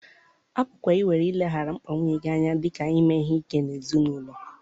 A pụkwara iwere ileghara mkpa nwunye gị anya dị ka ime ihe ike n'ezinụlọ.